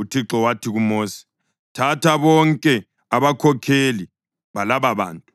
UThixo wathi kuMosi, “Thatha bonke abakhokheli balababantu,